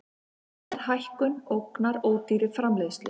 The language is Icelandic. Verðhækkun ógnar ódýrri framleiðslu